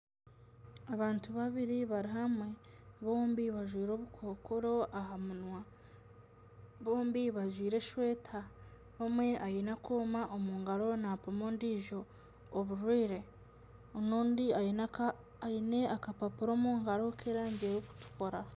Abantu babiri bari hamwe, bombi bajwire obukokoro aha minwa, bombi bajwire eshweta. Omwe aine akooma omu ngaro napima ondijo oburwire, n'ondi aine akapapura omungaro k'erangi erikutukura.